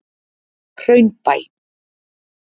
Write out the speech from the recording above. Hraunbæ